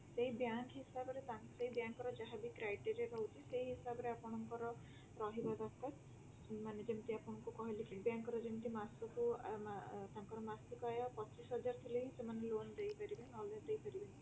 ସେଇ bank ହିସାବରେ ସେଇ bank ର ଯାହା ବି criteria ସେଇ ହିସାବରେ ଆପଣଙ୍କର ରହିବା ଦରକାର ମାନେ ଯେମିତି ଆପଣଙ୍କୁ କହିଲି Citi bank ରା ଯେମିତି ମାସକୁ ଆଁ ତାଙ୍କର ମାସିକ ଆୟ ପଚିଶ ହଜାର ଥିଲେ ହିଁ loan ଦେଇପାରିବେ ନହେଲେ ଦେଇପାରିବେନି